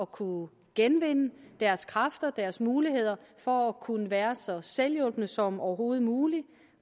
kunne genvinde deres kræfter deres muligheder for at kunne være så selvhjulpne som overhovedet muligt